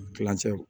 Kilancɛ